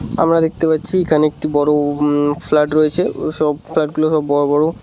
আমরা দেখতে পাচ্ছি এখানে একটা বড় উম ফ্ল্যাট রয়েছে সব ফ্ল্যাট গুলো সব বড় বড়।